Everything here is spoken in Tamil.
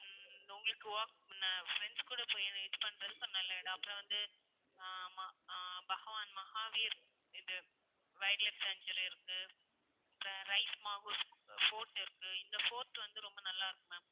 உம் உங்களுக்கு walk~friends கூட போய் இது பண்றதுக்கு நல்ல இடம். அப்பறம் வந்து ஹம் ஆஹ் பகவான் மஹாவீர், இது wildlife sanctuary இருக்கு இருக்கு. இந்த fort வந்து ரொம்ப நல்லா இருக்கும் ma'am